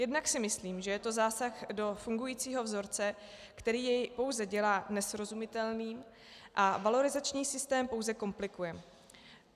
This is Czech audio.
Jednak si myslím, že je to zásah do fungujícího vzorce, který jej pouze dělá nesrozumitelný a valorizační systém pouze komplikuje.